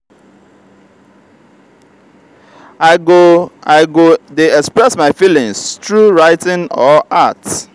i go i go dey express my feelings through writing or art.